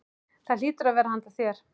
Það hlýtur að vera handa þér.